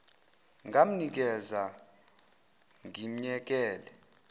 ngamnikeza or ngimyekele